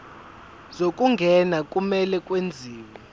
zokungena kumele kwenziwe